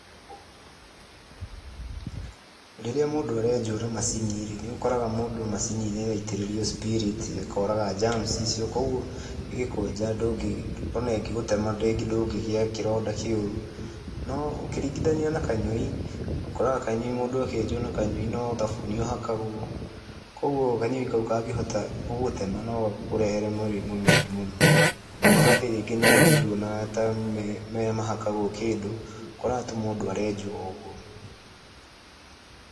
Rĩrĩa mũndũ arenjwo na macini-rĩ, nĩ ũkoraga mũndũ macini-inĩ ĩyo aitĩrĩrio spirit ĩkoraga germs icio. Koguo ĩgĩkwenja ona ĩngĩgũtema ndũngĩgia kĩronda kĩũru. No ũkĩringithania na kanyũi, ũkoraga kanyũi mũndũ akĩenjwo na no thabuni ũhakagwo, koguo kanyũi kau kangĩhota gũgũtema nogakũrehere mĩrimũ mĩũru mũno. Na magathĩ rĩngĩ na rĩngĩ nduonaga tamahakagwo kĩndũ, ũkoraga atĩ mũndũ arenjwo o ũguo.